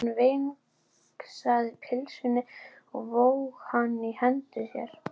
Hann vingsaði pylsunni og vóg hana í hendi sér.